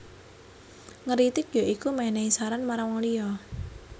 Ngritik ya iku menehi saran marang wong liya